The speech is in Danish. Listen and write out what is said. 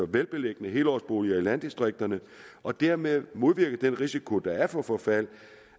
velbeliggende helårsboliger i landdistrikterne og dermed modvirke den risiko der er for forfald